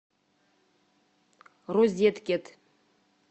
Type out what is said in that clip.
розеткед